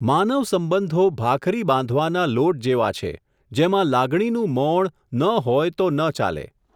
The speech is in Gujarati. માનવસંબંધો ભાખરી બાંધવાના લોટ જેવા છે, જેમાં લાગણીનું મૉણ ન હોય તો ન ચાલે.